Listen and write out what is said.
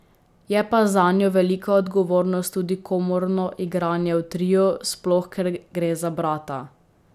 Je pa zanjo velika odgovornost tudi komorno igranje v triu, sploh ker gre za brata.